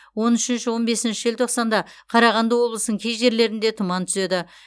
он үшінші он бесінші желтоқсанда қарағанды облысының кей жерлерінде тұман түседі